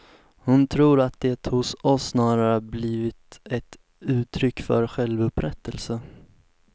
Hon tror att det hos oss snarare har blivit ett uttryck för självupprättelse.